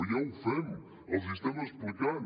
ja ho fem els hi estem explicant